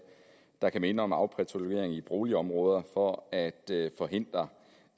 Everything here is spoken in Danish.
der kan minde om afpatruljering i boligområder for at forhindre